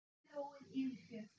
Skipi róið yfir fjörð.